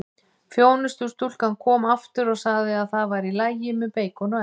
Þjónustustúlkan kom aftur og sagði það væri í lagi með beikon og egg.